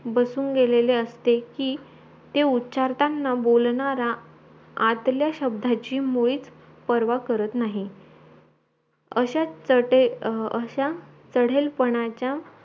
बसून गेलेले असते की ते उच्चारतांना बोलताना आतला शब्दाची मुळीच परवा करत नाही अस्या चंदेल चढेलपणचा